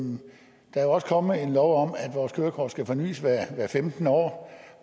der også kommet en lov om at vores kørekort skal fornys hvert femtende år